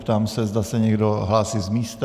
Ptám se, zda se někdo hlásí z místa.